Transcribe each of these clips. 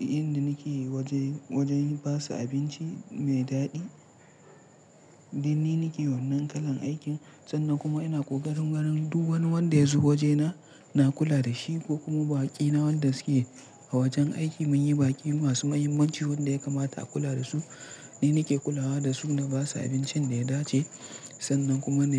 Inda nake yi wajen ba su abinci mai daɗi. Ni nike wannan kalan aikin sannan kuma ina ƙoƙarin wurin duk wanda ya zo waje na, na kula da shi ko kuma baƙi na wanda suke a wajen aiki. Mun yi baƙi masu mahimmanci wanda ya kamata a kula da su. Ni nake kulawa da su na ba su abincin da ya dace sannan kuma na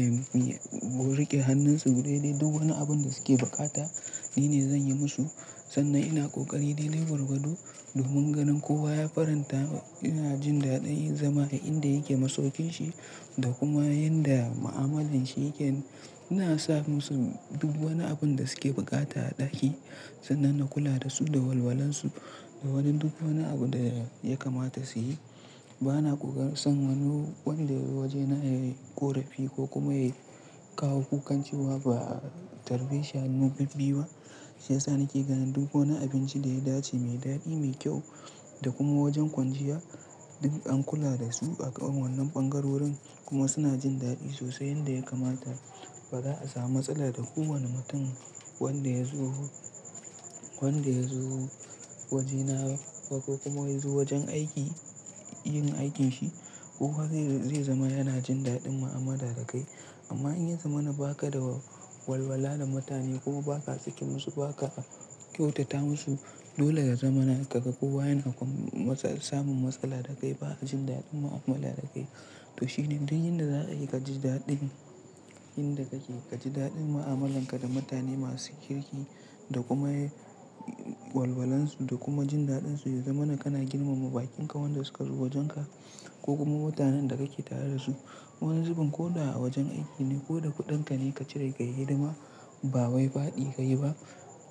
mu rike hannunsu daidai. Duk wani abun da suke buƙata ni ne zan yi musu sannan ina ƙoƙari dai dai gwargwado domin ganin kowa ya faranta. Ina jin daɗin in zama a inda yake masaukin shi da kuma inda mu'amalan shi yake. Ina sa musu duk wani abun da suke bukata a ɗaki sannan na kula da su da walwalansu da wani duk wani abu da ya kamata su yi. Bana ƙokarin san wani wanda ya zo waje na ya yi ƙorafi ko kuma ya kawo kukan cewa ba. A tarbe shi hannu bibbiyu ba sai sa na ke gani duk wani abinci da ya dace, mai daɗi, mai kyau da kuma wajen kwanciya duk an kula da su a ƙan wannan ɓangarorin kuma suna jin daɗi sosai yanda ya kamata. Bara a samu matsala da kowani mutum wanda ya zo waje na ba, ko ya zo wajen aiki yin aikin shi kowa zai zama yana jin daɗin mu'amala da kai amma in ya zama na ba ka da walwala da mutane kuma ba ka saki musu, ba ka kyautata musu dole ya zamana kaga kowa yana samun matsala da kai. Ba a jin daɗin mu'amala da kai to shine duk inda za ka yi ka ji daɗin inda kake ka ji daɗin mu'amalan ka da mutane masu kirki da kuma walwalan su da kuma jin dadin su ya zama na kana girmama baƙin ka wanda suka zo wajen ka ko kuma mutanen da kake tare da su. Wani zubin ko da a wajen aiki ne ko da kuɗin ka ne ka cire ka yi hidima ba wai faɗi ka yi ba.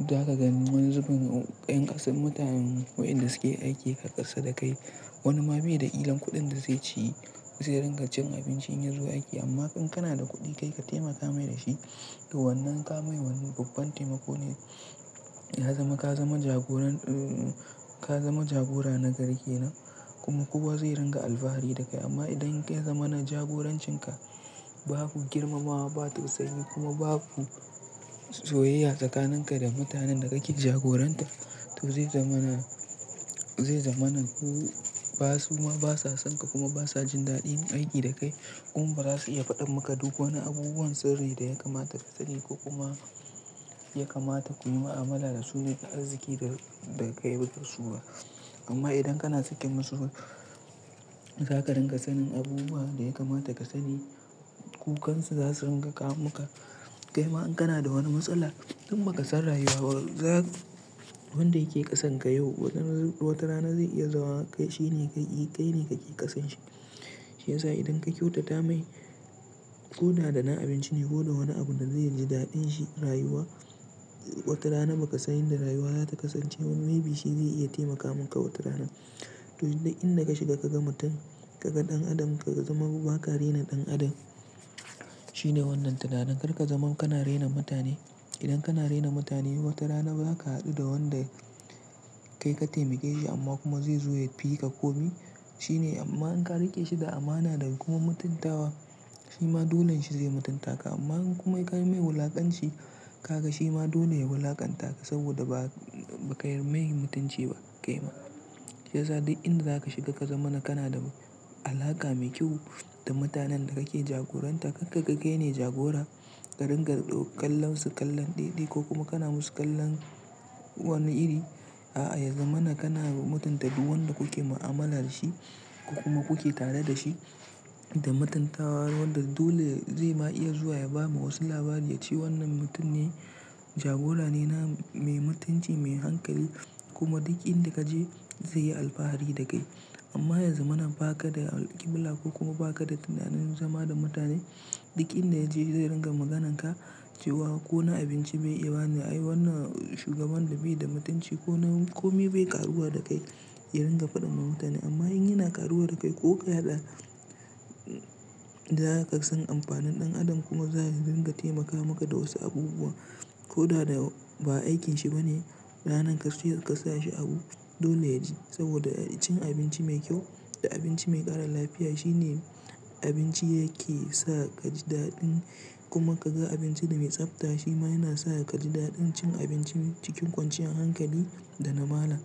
Za ka gani wani zubin yan kasan mutane wadanda su ke aiki ƙasa da kai. Wani ma bai da kilan kuɗin da zai ci zai ringa cin abinci in ya zo aiki amma in kana da kuɗi kai ka taimaka mai da shi. Wannan ka mai wannan babban taimako ne ya zama ka zama jagoran, in ka zama jagora nagari kenan kuma kowa zai dinga alfahari da kai, amma idan ya zamana jagorancin ka babu girmamawa babu tausayi kuma babu soyayya tsakanin ka da mutanen da ka ke jagoranta to zai zama na zai zama na ba su ma ba sa son ka kuma ba sa jin daɗin aiki da kai. Kuma ba za su iya faɗa maka duk wani abubuwan sirri da ya kamata ka sani ko kuma ya kamata ku yi mu'amala da su ne da arziki da, da ka yi ba da su ba. Amma idan kana sakin musu za ka ringa sanin abubuwa da ya kamata ka sani. Kukan su za su rika kawo maka kaima in kana da wani matsala, dan ba ka san rayuwa ba. Wanda ya ke ƙasan ka yau wata rana zai iya zama kai ke ƙasan shi shi yasa idan ka kyautata mai ko da dana abinci ne ko da wani abu da zai ji daɗin shi rayuwa, watarana ba ka san yanda rayuwa za ta kasance ba maybe shi zai iya taimaka maka wata rana. To duk inda ka shiga ka ga mutum ka ga ɗan adam ka zama ba ka rena ɗan adam. Shine wannan tunanin kar ka zama kana rena mutane. Idan kana rena mutane watarana za ka haɗu da wanda kai ka taimake shi amma kuma zai zo ya fi ka komi. Shine amma in ka riƙe shi da amana da kuma mutuntawa shi ma dolen shi zai mutunta ka. Amma kuma in ka mai wulakanci ka ga shi ma dole ya wulaƙanta ka saboda ba ba ka yi mai mutunci ba kai ma. Shi yasa duk inda za ka shiga ka zama na kana da alaƙa mai kyau da mutanen da kake jagoranta. Kar ka ga ƙai ne jagora ƙa ringa ɗau kallon su kallon ɗiɗai kuma kana musu kallon wani iri. A'a ya zama na kana mutunta duk wanda kuke mu'amala da shi ko kuma kuke tare da shi da matunta wanda dole zai ma iya zuwa ya ba ma wasu labari ya ce wannan mutum ne jagora ne, na mai mutunci, mai hankali kuma duk inda ka je zai yi alfahari da kai. Amma ya zama na ba ka da alƙibila ko kuma ba ka da tunanin zama da mutane. Duk inda ya je zai ringa maganan ka cewa ko na abinci bai iya bani. Ai wannan shugaban da bai da mutunci ko na komi bai ƙaruwa da kai ya ringa faɗin ma mutane. Amma in yana ƙaruwa da kai ko ka haɗa za ka san amfanin ɗan adam kuma za ya ringa taimaka maka da wasu abubuwa ko da ba aikin shi ba ne. Ranar ka ka sa shi abu dole yaje saboda cin abinci mai kyau da abinci mai ƙara lafiya shine abinci yake sa ka ji daɗin kuma ka ga abinci da mai tsafta shi ma yana sa ka ji daɗin cin abinci cikin kwanciyar hankali da na mala.